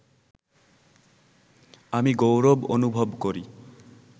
আমি গৌরব অনুভব করি